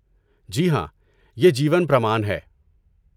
جی ہاں، یہ جیون پرمان ہے؟